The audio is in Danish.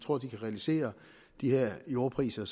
realisere de her jordpriser